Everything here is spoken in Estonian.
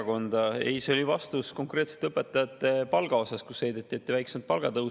Ei, see oli vastus konkreetselt õpetajate palga kohta, sest heideti ette väiksemat palgatõusu.